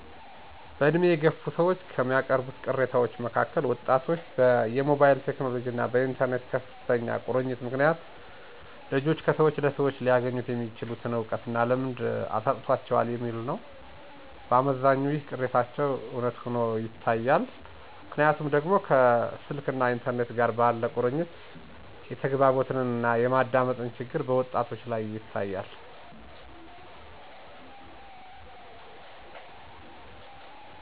በድሜ የገፉ ሰዎች ከሚያቀርቡት ቅሬታዎች መካከል ወጣቶች በሞባይል ቴክኖሎጅና በኢተርኔት ከፍተኛ ቁርኝት ምክንያት ልጆች ከሰወች ለሰዎች ሊያገኙት የሚችሉትን እውቀትና ልምድ አሳጥቷቸዋል የሚል ነው። በአመዛኙ ይህ ቅሬታቸው እውነት ሆኖ ይታያል። ምክንያቱ ደግሞ ከስልክና ኢንተርኔት ጋር ባለ ቁርኝት የተግባቦትና የማዳመጥ ችግር በወጣቶች ላይ ይታያል።